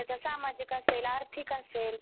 किंवा त्याचं सामाजिक असेल, आर्थिक असेल